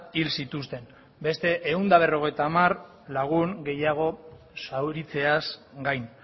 hil zituzten beste ehun eta berrogeita hamar lagun gehiago zauritzeaz gain